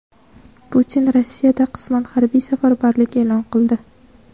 Putin Rossiyada qisman harbiy safarbarlik e’lon qildi.